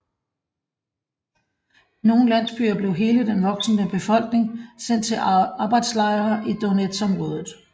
I nogle landsbyer blev hele den voksne befolkning sendt til arbejdslejre i Donetsområdet